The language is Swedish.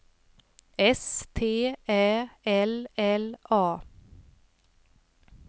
S T Ä L L A